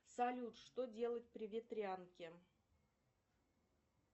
салют что делать при ветрянке